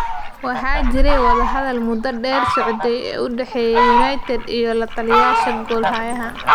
Waxaa jiray wadahadalo muddo dheer socday oo u dhexeeyay United iyo lataliyayaasha goolhayaha.